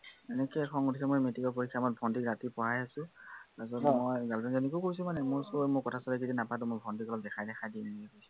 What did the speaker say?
এনেকে খং উঠিছে মোৰ matric ৰ পৰীক্ষাৰ সময়ত ভন্টীক ৰাতি পঢ়াই আছো তাৰপিছত মই girlfriend জনীকো কৈছো মানে, মোৰ অই মই কথা চথা নাপাতো ভন্টীক অলপ দেখাই চেখাই দিম বুলি